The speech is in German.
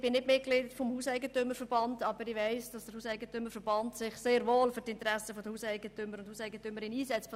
Ich bin nicht Mitglied des Hauseigentümerverbands (HEV), weiss aber, dass sich dieser sehr wohl für die Interessen der Hauseigentümerinnen und Hauseigentümer einsetzt.